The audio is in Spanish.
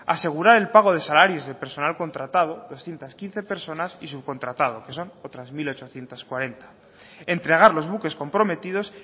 asegurar el pago de salarios del personal contratado doscientos quince personas y subcontratado que son otras mil ochocientos cuarenta entregar los buques comprometidos